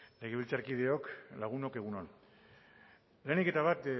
legebiltzarkideok lagunok egun on lehenik eta bat